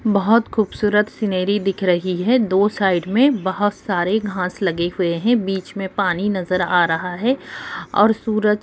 बहुत खूबसूरत सीनरी दिख रही है दो साइड मे बोहोत सारे घास लगे हुए है बीच में पानी नजर आ रहा है और सूरज--